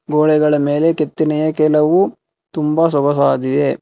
ಗೋಡೆಗಳ ಮೇಲೆ ಕೆತ್ತನೆಯ ಕೆಲವು ತುಂಬಾ ಸೊಗಸಾದಿದೆ.